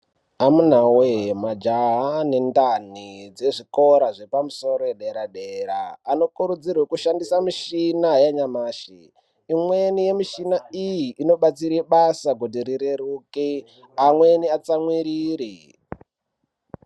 Amunawee majaha ane ndani dzezvikora zvepamusoro ederadera anokurudzirwa kushandisa michina yanyamashi , imweni yemishina iyi inobatsire basa kuti rireruke amweni atsamwirire .